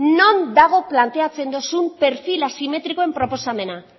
non dago planteatzen dozuen perfil asimetrikoen proposamena